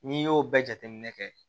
N'i y'o bɛɛ jateminɛ kɛ